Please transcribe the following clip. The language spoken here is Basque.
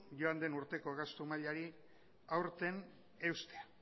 joan den urteko gastu mailari aurten eustea